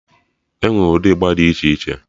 Enwee ụdị ịgba dị iche iche